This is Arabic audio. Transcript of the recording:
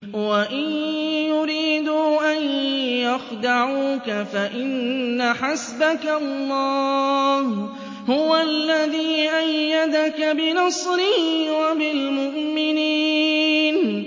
وَإِن يُرِيدُوا أَن يَخْدَعُوكَ فَإِنَّ حَسْبَكَ اللَّهُ ۚ هُوَ الَّذِي أَيَّدَكَ بِنَصْرِهِ وَبِالْمُؤْمِنِينَ